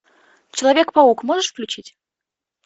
человек паук можешь включить